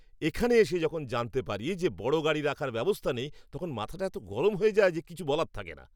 এখানে এসে যখন জানতে পারি যে বড় গাড়ি রাখার ব্যবস্থা নেই তখন মাথাটা এতো গরম হয়ে যায় যে কিছু বলার থাকে না!